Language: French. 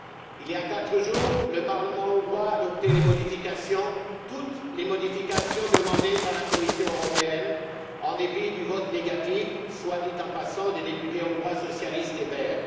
Il y a quatre jours, le Parlement hongrois a adopté les modifications toutes les modifications demandées par la Commission européenne en dépit du vote négatif, soit dit en passant, des députés hongrois socialistes et verts.